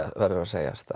verður að segjast það